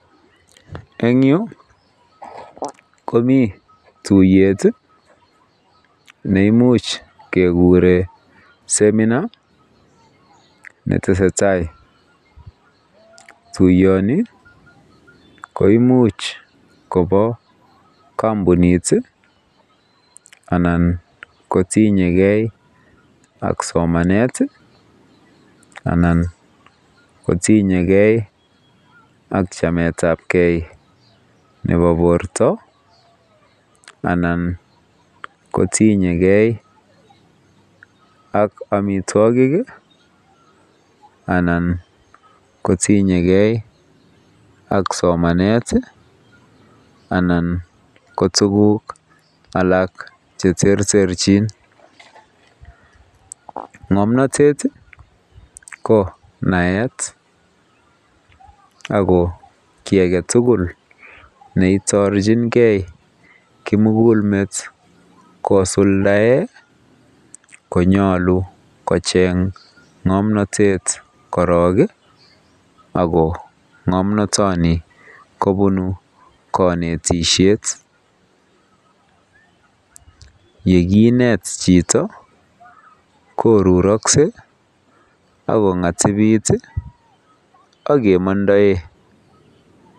Eng yu komii tuyet neimuch kekure seminar netesetai tuiyoni koimuch kobo kampunit anan kotinyekei ak somanet anan kotinye kei ak chametab kei nebo borto anan kotinye kei ak amitwokik anan kotinye kei ak somanet anan ko tuguk alak che terterchin. Ngomnotet ko naet ako kiy aketugul neitorchingei kimugulmet kosuldae konyolu kocheng ngomnotet korok ako ngomnotoni kobunu kanetisiet yekinet chito koruraksei akongatibit akemandae